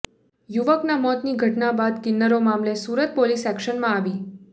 યુવકના મોતની ઘટના બાદ કિન્નરો મામલે સુરત પોલીસ એક્શનમાં આવી